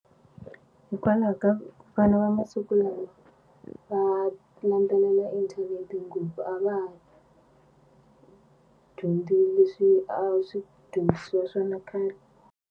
Hikwalaho ka vana va masiku lawa va landzelela internet ngopfu a va ha dyondzi leswi a swi dyondzisiwa swona khale.